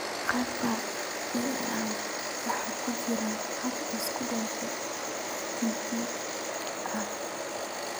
Qaabka PAEB waxa ku jira hab isku dhafan oo TPD ah.